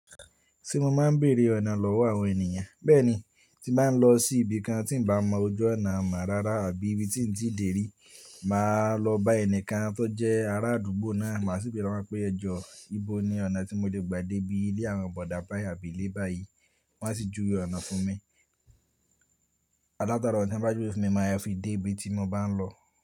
Se mo máa ń béèrè ọ̀nà lọ́wọ́ àwọn ènìyàn. Bẹ́ẹ̀ ni tí màá lọ sí ibi kan tí n bà mọ ojú ọ̀nà mọ́ rárá àbí ibi tí n tíì dèrí, màá lọ bá ẹnikan tó jẹ́ ará àdúgbò náà, màá sì béèrè lowon pé ẹjọ ìbò ni ọ̀nà tí mo lè gbà dé bí ilé àwọn bọ̀dá bayi àbí ilé báyìí. Wọ́n á sì júwe ọ̀nà fún mi. Alátarọ̀ tí wọ́n bá júwe fún mi, màá fi dé ibi tí mo bá ń lọ.